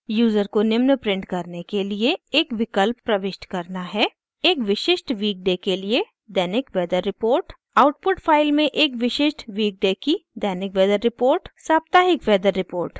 user को निम्न print करने के लिए एक विकल्प प्रविष्ट करना है: